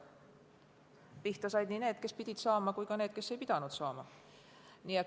Pihta said nii need, kes pidid saama, kui ka need, kes ei pidanud saama.